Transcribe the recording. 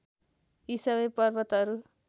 यी सबै पर्वतहरू